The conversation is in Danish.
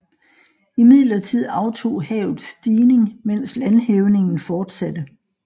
Imidlertid aftog havets stigning medens landhævningen fortsatte